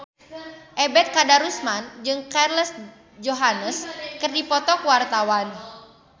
Ebet Kadarusman jeung Scarlett Johansson keur dipoto ku wartawan